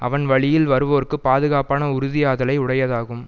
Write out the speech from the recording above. அவன் வழியில் வருவோர்க்குப் பாதுகாப்பான உறுதியாதலை உடையதாகும்